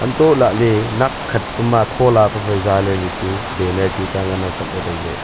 antoh lahle nakkhat pema thola pe phai zale le chu baner tuta ngan ang kaple taile.